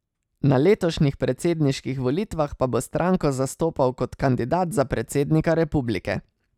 Na letošnjih predsedniških volitvah pa bo stranko zastopal kot kandidat za predsednika republike.